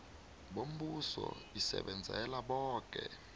bombuso isebenzela boke